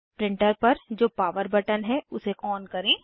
printer पर जो power button है उसे ऑन करें